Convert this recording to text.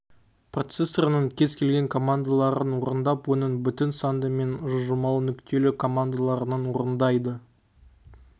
процессорының кез-келген командаларын орындап оның бүтін санды мен жылжымалы нүктелі командандаларын орындайды